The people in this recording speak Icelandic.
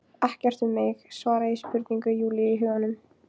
Ekkert um mig, svara ég spurningu Júlíu í huganum.